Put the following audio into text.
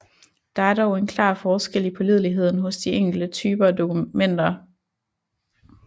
Der er dog en klar forskel i pålideligheden hos de enkelte typer af dokumenter